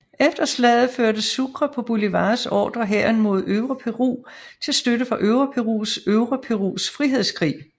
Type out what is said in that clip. Efter slaget førte Sucre på Bolívars ordre hæren mod Øvre Peru til støtte for Øvre Perus Øvre Perus frihedskrig